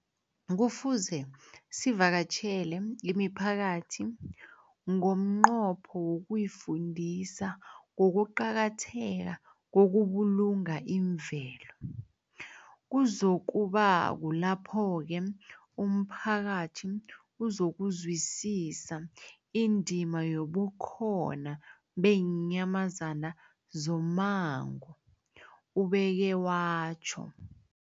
Kufuze sivakatjhele imiphakathi ngomnqopho wokuyifundisa ngokuqakatheka kokubulunga imvelo. Kuzoku ba kulapho-ke umphakathi uzokuzwisisa indima yobukhona beenyamazana zommango, ubeke watjho.